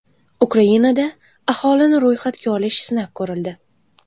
Ukrainada aholini ro‘yxatga olish sinab ko‘rildi.